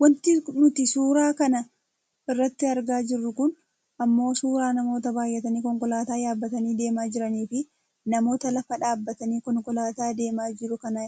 Wanti nuti suura kana irratti argaa jirru kun ammoo suuraa namoota baayyatanii konkolaataa yaabbatanii deemaa jiraniifi namoota lafa dhaabbatanii konkolaataa deemaa jiru kana